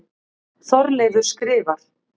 Þorleifur skrifar: